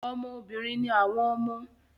Ọmọ obìnrin ni àwọn ọmọ